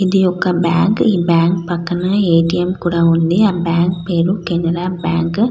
ఇది ఒక bank . Bank పక్కన ఎటిఎం కూడా ఉంది. ఆ బ్యాంకు పేరు కెనరా --